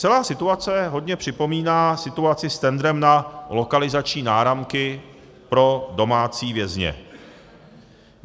Celá situace hodně připomíná situaci s tendrem na lokalizační náramky pro domácí vězně.